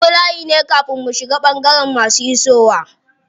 Mun bi layi ne kafin bu shiga cikin ɓangaren masu isowa.